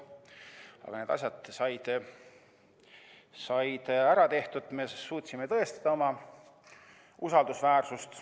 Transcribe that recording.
Aga need asjad said ära tehtud, me suutsime tõestada oma usaldusväärsust.